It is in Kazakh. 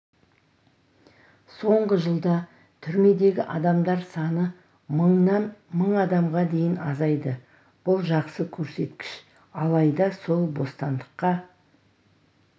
соңғы жылда түрмедегі адамдар саны мыңнан мың адамға дейін азайды бұл жақсы көрсеткіш алайда сол бостандыққа